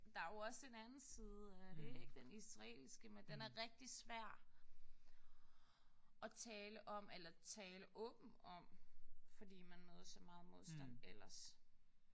Der er jo også en anden side af det ikk. Den israelske. Men den er rigtig svær at tale om eller at tale åbent om fordi man møder så meget modstand ellers